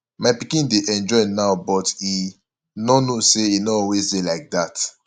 my pikin dey enjoy now but e no know say e no always dey like dat